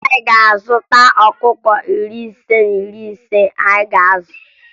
Anyị ga-azụta ọkụkọ narị ise na iri anọ anyị ga-azụ